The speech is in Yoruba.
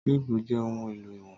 Téèpù jẹ́ ohun-èlò ìwọ̀n.